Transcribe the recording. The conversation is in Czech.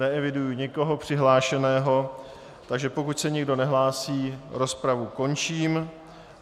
Neeviduji nikoho přihlášeného, takže pokud se nikdo nehlásí, rozpravu končím.